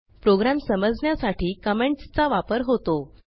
program समजण्यासाठी कॉमेंटसचा वापर होतो